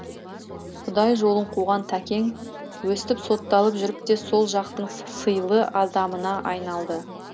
құдай жолын қуған тәкең өстіп сотталып жүріп те сол жақтың сыйлы адамына айналды